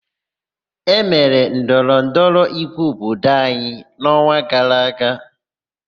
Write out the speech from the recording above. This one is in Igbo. E mere ndọrọ ndọrọ ígwé obodo anyị n'ọnwa gara aga.